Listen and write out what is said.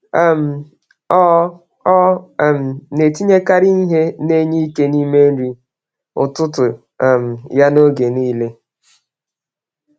um Ọ Ọ um na-etinyekarị ihe na-enye ike n’ime nri ụtụtụ um ya oge niile.